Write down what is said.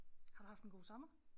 Har du haft en god sommer?